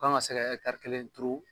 Kan ka se ka kelen turu